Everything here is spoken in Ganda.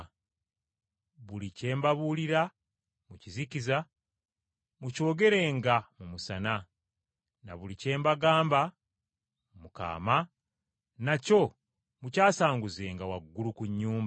Buli kye mbabuulira mu kizikiza mukyogereranga mu musana, na buli kye mbagamba mu kaama, nakyo mukyasanguzanga waggulu ku nnyumba.